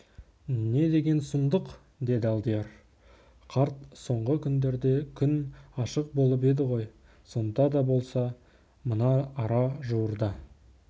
не деген сұмдық деді алдияр қарт соңғы күндерде күн ашық болып еді ғой сонда да болса мына ара жуырда